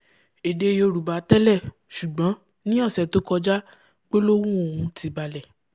èdè yorùbá tẹ́lẹ̀ ṣùgbọ́n ní ọ̀sẹ̀ tó kọjá gbólóhùn ọ̀hún ti balẹ̀